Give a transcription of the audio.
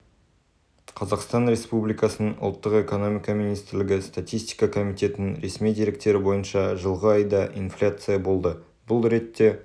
қазақстан республикасының ұлттық экономика министрлігі статистика комитетінің ресми деректері бойынша жылғы айда инфляция болды бұл ретте